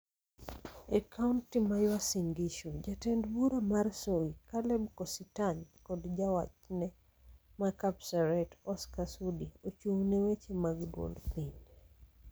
E kaonti mar Uasin Gisu, jatend bura mar Soy, Caleb Kositany kod jawachde ma Kapseret, Oscar Sudi, ochung' ne weche mag duond piny.